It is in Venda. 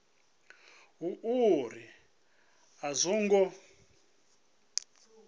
hu uri a zwo ngo